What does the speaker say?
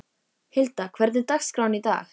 Hilda, hvernig er dagskráin í dag?